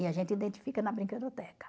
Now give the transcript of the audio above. E a gente identifica na brinquedoteca.